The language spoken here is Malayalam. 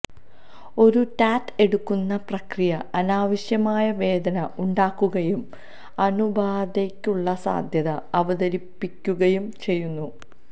ഒരു ടാറ്റ് എടുക്കുന്ന പ്രക്രിയ അനാവശ്യമായ വേദന ഉണ്ടാക്കുകയും അണുബാധയ്ക്കുള്ള സാധ്യത അവതരിപ്പിക്കുകയും ചെയ്യുന്നു